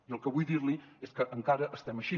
i el que vull dir li és que encara estem així